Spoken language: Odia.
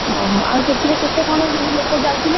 ଓହୋ ଆଉ ସେଥିରେ କେତେ କଣ ସବୁ ଲୋକ ଯାଉଥିଲେ?